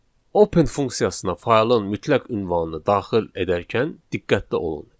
Open funksiyasına faylın mütləq ünvanını daxil edərkən diqqətli olun.